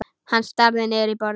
Hann starir niður í borðið.